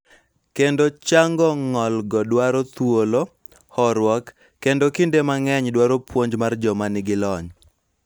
Kendo chango ng�olgo dwaro thuolo, horuok, kendo kinde mang�eny dwaro puonj mar joma nigi lony.